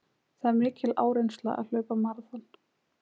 Það er mikil áreynsla að hlaupa maraþon.